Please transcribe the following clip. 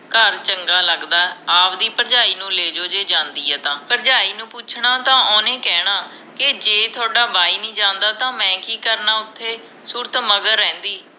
ਘਰ ਚੰਗਾ ਲਗਦਾ ਆਵਦੀ ਭਰਜਾਈ ਨੂੰ ਲੈਜੋ ਜੇ ਜਾਂਦੀ ਹੈ ਤਾਂ ਭਰਜਾਈ ਨੂੰ ਪੁੱਛਣਾ ਤੇ ਓਹਨੇ ਕਹਿਣਾ ਕੇ ਜੇ ਥੋਡਾ ਬਾਈ ਨੀ ਜਾਂਦਾ ਤਾ ਮੈਂ ਕਿ ਕਰਨਾ ਓਥੇ ਸੂਰਤ ਮਗਰ ਰਹਿੰਦੀ